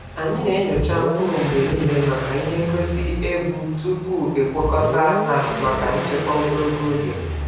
Anyị na-enyocha mkpụrụ mgbe niile maka ihe ngosi ebu tupu e kwakọta ha maka nchekwa ogologo oge.